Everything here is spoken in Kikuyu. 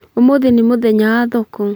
Ũmũthĩ nĩ mũthenya wa thoko